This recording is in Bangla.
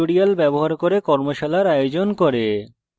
কথ্য tutorials ব্যবহার করে কর্মশালার আয়োজন করে